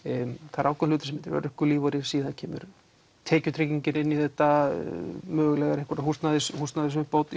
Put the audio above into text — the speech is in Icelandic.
það er ákveðinn hluti sem heitir örorkulífeyrir síðan kemur tekjutryggingin inn í þetta mögulega einhver